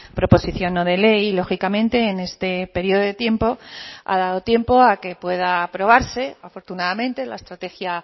proposición no de ley y lógicamente en este periodo de tiempo ha dado tiempo a que pueda aprobarse afortunadamente la estrategia